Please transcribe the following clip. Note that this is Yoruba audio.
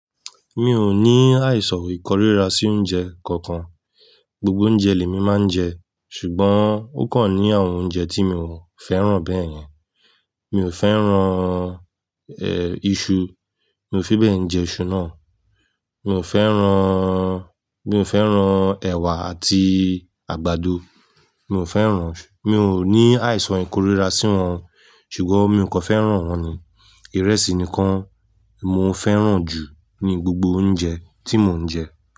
Mi o ní àìsàn ìkórìíra sí oúnjẹ kankan. Gbogbo oúnjẹ lè mi máa ń jẹ ṣùgbọ́n ó kàn ní àwọn oúnjẹ tí mi ò fẹ́ràn bẹ́ẹ̀yẹn. Mi ò fẹ́ràn, ẹ́, iṣu. Mi ò fi bẹ́ẹ̀ jẹ iṣu náà. Mi ò fẹ́ràn, mi ò fẹ́ràn ẹ̀wà àti àgbàdo. Mi ò fẹ́ràn, mi ò ní àìsàn ìkórìíra sí wọn, ṣùgbọ́n, mi o ko fẹ́ràn wọ́n ni. Ìrẹsì nìkan mo fẹ́ràn jù ní gbogbo oúnjẹ tí mo ń jẹ.